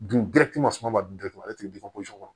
Dun bɛɛ ti masuma ma datugu ale ti fɔsi kɔnɔ